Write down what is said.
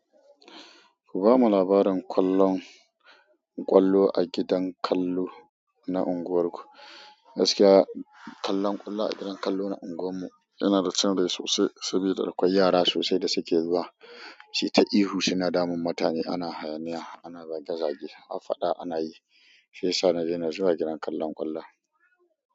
Ku bamu labarin kallon ƙwallo a gidan kallo na unguwarku. Gaskiya kallon ƙwallo a gidan kallo na unguwar mu yana da cin rai sosai saboda akwai yara sosai da suke zuwa. Su yi ta ihu suna damun mutane, ana hayaniya, ana zage-zage, har faɗa ana yi. Shiyasa na daina zuwa gidan kallon ƙwallon.